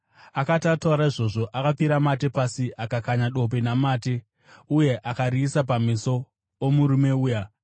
Akati ataura izvozvo, akapfira mate pasi, akakanya dope namate, uye akariisa pameso omurume uya.